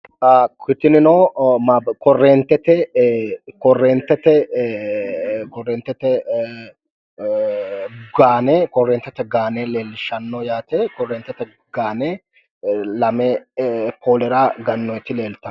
Tinino korreentete korreentete gaane leellishshanno yaate. korreentete gaane lame poolera gannoyiti leeltanno.